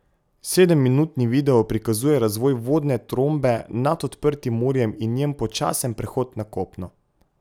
Sedem minutni video prikazuje razvoj vodne trombe nad odprtim morjem in njen počasen prehod na kopno.